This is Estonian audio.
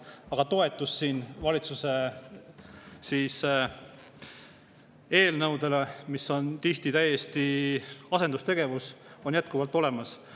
Aga toetus valitsuse eelnõudele, mis on tihti täiesti asendustegevus, on siin jätkuvalt olemas.